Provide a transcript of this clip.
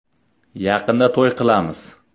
Yaqinda to‘y qilamiz.